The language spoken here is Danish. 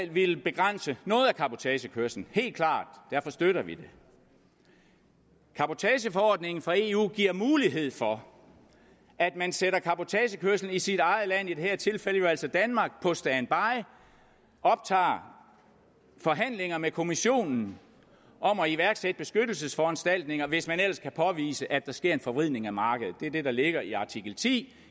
vil begrænse noget af cabotagekørslen helt klart derfor støtter vi det cabotageforordningen fra eu giver mulighed for at man sætter cabotagekørsel i sit eget land i det her tilfælde jo altså danmark på standby og optager forhandlinger med kommissionen om at iværksætte beskyttelsesforanstaltninger hvis man ellers kan påvise at der sker en forvridning af markedet det er det der ligger i artikel ti